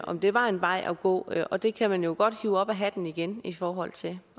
om det var en vej at gå og det kan man jo godt hive op af hatten igen i forhold til